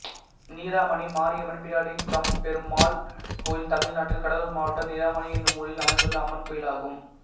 நிராமணி மாரியம்மன் பிடாரி கம்பபெருமாள் கோயில் தமிழ்நாட்டில் கடலூர் மாவட்டம் நிராமணி என்னும் ஊரில் அமைந்துள்ள அம்மன் கோயிலாகும்